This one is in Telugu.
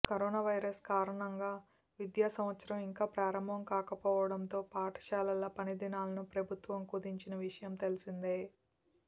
కరోనా వైరస్ కారణంగా విద్యా సంవత్సరం ఇంకా ప్రారంభం కాకపోవడంతో పాఠశాలల పనిదినాలను ప్రభుత్వం కుదించిన విషయం తెలిసిందే